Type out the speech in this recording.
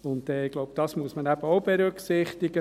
Ich denke, das muss man auch berücksichtigen.